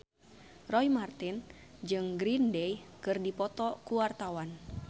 Roy Marten jeung Green Day keur dipoto ku wartawan